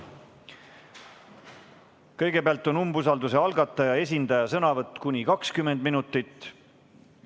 Kõigepealt on umbusalduse algatajate esindaja sõnavõtt kuni 20 minutit.